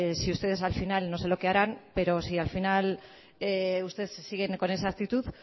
ustedes al final no sé lo qué harán si al final ustedes siguen con esa actitud